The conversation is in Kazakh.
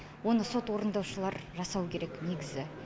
оны сот орындаушылар жасау керек негізі